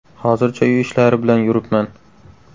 Hozircha uy ishlari bilan yuribman.